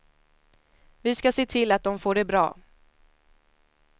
Vi ska se till att de får det bra.